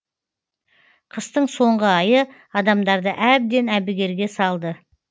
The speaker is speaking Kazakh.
қыстың соңғы айы адамдарды әбден әбігерге салды